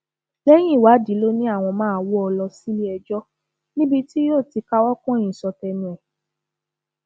lẹyìn ìwádìí ló ní àwọn máa wọ ọ lọ síléẹjọ níbi tí yóò ti káwọ pọnyìn sọ tẹnu ẹ